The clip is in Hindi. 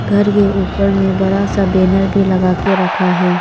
घर के ऊपर में बड़ा सा बैनर भी लगा के रखा है।